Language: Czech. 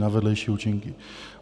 na vedlejší účinky?